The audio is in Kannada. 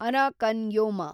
Arakan Yoma